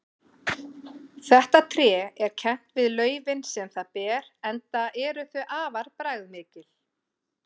Þetta tré er kennt við laufin sem það ber enda eru þau afar bragðmikil.